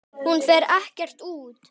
Hún fer ekkert út!